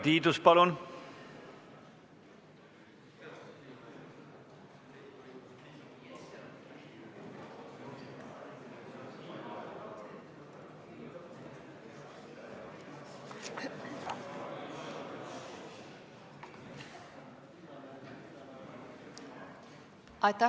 Urve Tiidus, palun!